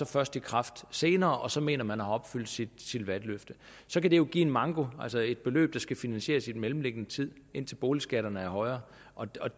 først i kraft senere og så mener man at have opfyldt sit valgløfte så kan det jo give en manko altså et beløb der skal finansieres i den mellemliggende tid indtil boligskatterne bliver højere og